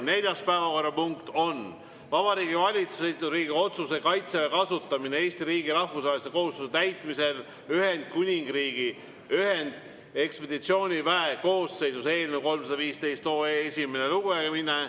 Neljas päevakorrapunkt on Vabariigi Valitsuse esitatud Riigikogu otsuse "Kaitseväe kasutamine Eesti riigi rahvusvaheliste kohustuste täitmisel Ühendkuningriigi ühendekspeditsiooniväe koosseisus" eelnõu 315 esimene lugemine.